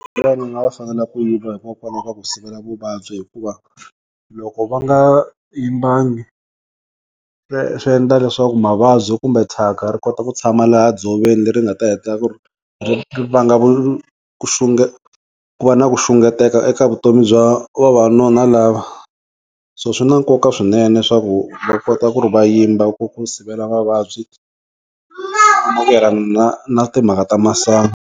Ku yiva hikokwalaho ka ku sivela vuvabyi hikuva loko va nga yimbangi swi endla leswaku mavabyi kumbe thyaka ri kota ku tshama laha dzoveni leri nga ta hetelela ku ri ri va nga ku xunge ku va na ku xunguteka eka vutomi bya vavanuna lava so swi na nkoka swinene swaku va kota ku ri va yimba ku ri va sivela mavabyi na timhaka ta masangu.